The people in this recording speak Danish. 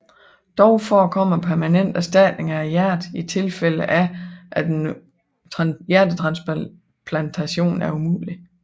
Dog forekommer permanent erstatning af hjertet i tilfælde af at en hjertetransplantation er umulig